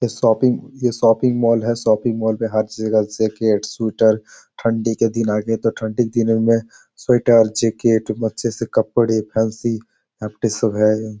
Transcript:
एक शॉपिंग ये shopping mall है | शॉपिंग मॉल पे हर जगह जैसे जैकेट्स शूटर | ठंडी के दिन आगे तो ठंडी के दिनों में स्वेटर जैकेट अच्छे से कपड़े फैंसी सब है |